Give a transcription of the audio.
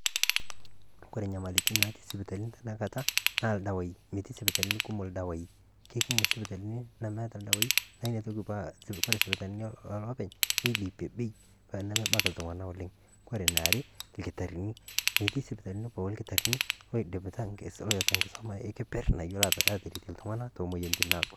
Kore enyamalitin natii isipitalini tena Kata naa ildawaii, metii sipitalini kumok ildawaii. Kekumok esipitalini nemeeta ildawaii neitoki aaku ore isipitalini Oloopeny' neilepie Bei paa mebaiki iltung'anak oleng'. Kore eniare ilkitarrini metii isipitalini pooki ilkitarrini loidipita loota enkisuma ekeperr nayiolo atiripie iltung'anak to moyiaritin naagol.